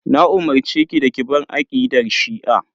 Na umurceki da ki bar aqidar shi'a.